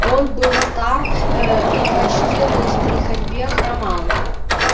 он был стар ээ и почти лыс при ходьбе хромал